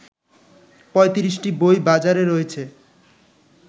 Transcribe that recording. ৩৫টি বই বাজারে রয়েছে